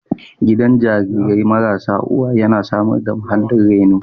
Gidan jarirai marasa uwa yana samar da muhallin reno